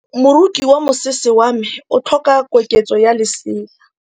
Moroki wa mosese wa me o tlhoka koketsô ya lesela.